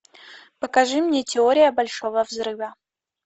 покажи мне теория большого взрыва